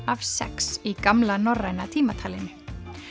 af sex í gamla norræna tímatalinu